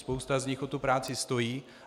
Spousta z nich o tu práci stojí.